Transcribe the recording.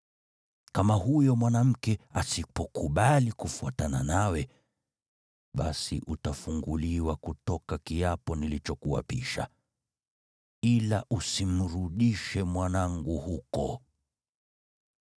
Kama huyo mwanamke asipokubali kufuatana nawe, basi utafunguliwa kutoka kiapo nilichokuapisha. Ila usimrudishe mwanangu huko.”